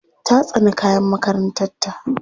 Ta tsani kayan makarantarta.